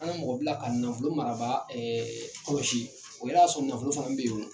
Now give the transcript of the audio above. An ye mɔgɔ bila ka nafolo marabaga kɔlɔsi o y'a sɔrɔ nafolo fana bɛ yen o.